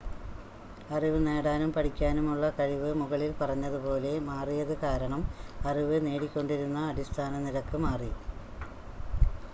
അറിവ് നേടാനും പഠിക്കാനുമുള്ള കഴിവ് മുകളിൽ പറഞ്ഞതുപോലെ മാറിയത് കാരണം അറിവ് നേടിക്കൊണ്ടിരുന്ന അടിസ്ഥാന നിരക്ക് മാറി